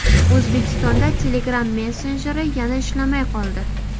O‘zbekistonda Telegram messenjeri yana ishlamay qoldi.